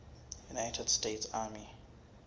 united states army